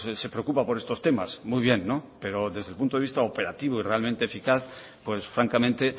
se preocupa por estos temas muy bien no pero desde el punto de vista operativo y realmente eficaz pues francamente